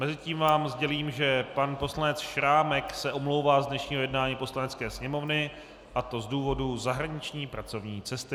Mezitím vám sdělím, že pan poslanec Šrámek se omlouvá z dnešního jednání Poslanecké sněmovny, a to z důvodu zahraniční pracovní cesty.